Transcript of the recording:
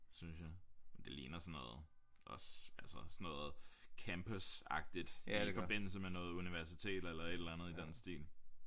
Synes jeg det ligner sådan noget også altså sådan noget campusagtigt i forbindelse med noget universitet eller et eller andet i den stil